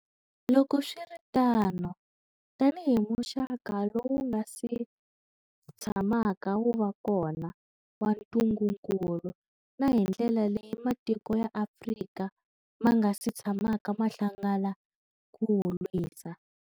Loko swi ri tano, tanihi muxaka lowu nga si tshamaka wu va kona wa ntungukulu, na hi ndlela leyi matiko ya Afrika ma nga si tshamaka ma hlangana ku wu lwisa.